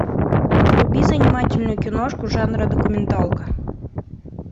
вруби занимательную киношку жанра документалка